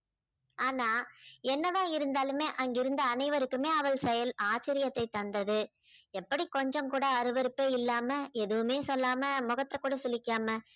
ஆனா என்னதான் இருந்தாலுமே அங்கிருந்த அனைவருக்குமே அவள் செயல் ஆச்சரியத்தை தந்தது. எப்படி கொஞ்சம் கூட அருவருப்பே இல்லாம எதுவுமே சொல்லாமல் முகத்தை கூட சுளிக்காம